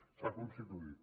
s’ha constituït